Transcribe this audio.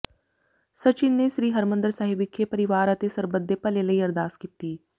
ਸਚਿਨ ਨੇ ਸ੍ਰੀ ਹਰਿਮੰਦਰ ਸਾਹਿਬ ਵਿਖੇ ਪਰਿਵਾਰ ਅਤੇ ਸਰਬਤ ਦੇ ਭਲੇ ਲਈ ਅਰਦਾਸ ਕੀਤੀ